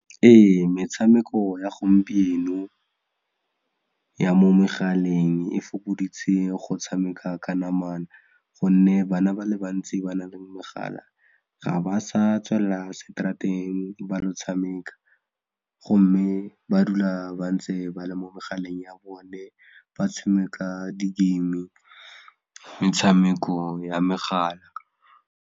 Ee metshameko ya gompieno ya mo megaleng e fokoditse go tshameka ka namana gonne bana ba le bantsi ba na le megala ga ba sa tswela seterateng ba ilo tshameka gomme ba dula ba ntse ba le mo megaleng ya bone ba tshameka di-game metshameko ya megala.